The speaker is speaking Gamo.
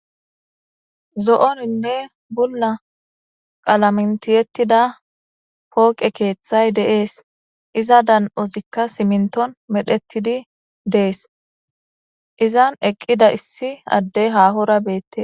zo7oninne bulla qalamentiyettida pooqe keeththay deees iza dan7ozikka siminton medhettidi dees izan eqqida issi addey haahora beette